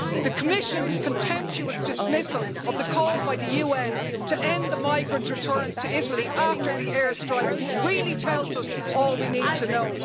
The Commission's contemptuous dismissal of the call by the UN to end the migrant returns to Italy after the air strike really tells us all we need to know.